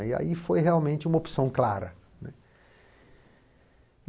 E aí foi realmente uma opção clara, né.